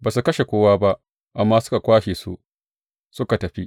Ba su kashe kowa ba, amma suka kwashe su, suka tafi.